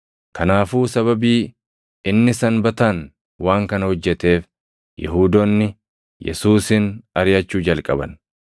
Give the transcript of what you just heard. Kanaafuu sababii inni Sanbataan waan kana hojjeteef, Yihuudoonni Yesuusin ariʼachuu jalqaban.